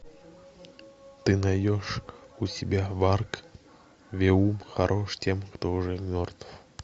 ты найдешь у себя варг веум хорошо тем кто уже мертв